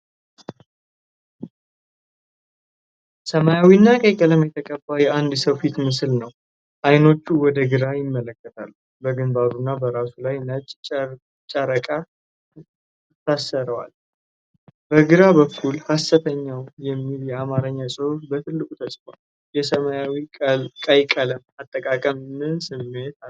ሰማያዊና ቀይ ቀለም የተቀባ የአንድ ሰው ፊት ምስል ነው። አይኖቹ ወደ ግራ ይመለከታሉ፣ በግንባሩና በራሱ ላይ ነጭ ጨርቅ ይታሰረዋል። በግራ በኩል "ሐሰተኛው" የሚል የአማርኛ ጽሑፍ በትልቁ ተጽፏል። የሰማያዊና ቀይ ቀለም አጠቃቀም ምን ስሜት አለው?